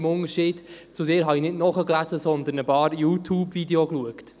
Im Unterschied zu Ihnen habe ich nicht nachgelesen, sondern ein paar Youtube-Videos geschaut.